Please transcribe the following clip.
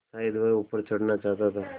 शायद वह ऊपर चढ़ना चाहता था